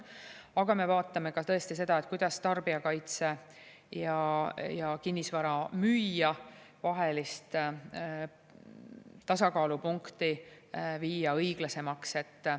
Aga me vaatame tõesti ka seda, kuidas tarbijakaitse ja kinnisvara müüja vahelist tasakaalupunkti viia õiglasemaks.